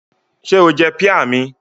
Ṣé o jẹ píà mi?